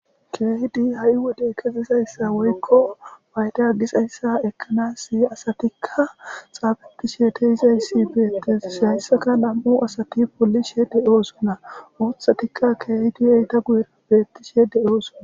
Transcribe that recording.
keehidi ha7i wode kezidayssa woykko payda gizayssa ekkanasi asatikka xaafeetishe dizayssi beettes hayssaka nam7u asati polishe de7oosona uuthatikka keehidi eta guyera beettishe de7oosona